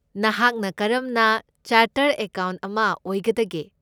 ꯅꯍꯥꯛꯅ ꯀꯔꯝꯅ chartered accountant ꯑꯃ ꯑꯣꯏꯒꯗꯒꯦ?